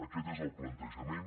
aquest és el plantejament